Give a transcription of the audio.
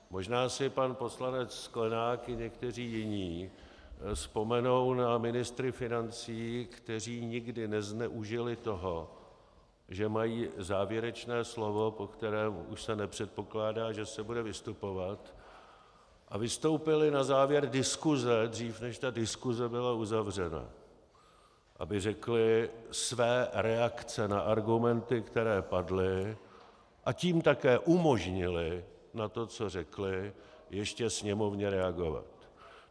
Možná si pan poslanec Sklenák i někteří jiní vzpomenou na ministry financí, kteří nikdy nezneužili toho, že mají závěrečné slovo, po kterém už se nepředpokládá, že se bude vystupovat, a vystoupili na závěr diskuse, dřív než ta diskuse byla uzavřena, aby řekli své reakce na argumenty, které padly, a tím také umožnili na to, co řekli, ještě Sněmovně reagovat.